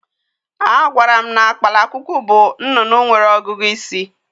A gwara m na kpalakwukwu bụ nnụnụ nwere ọgụgụ isi.